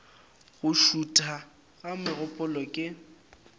go šutha ga megopolo ke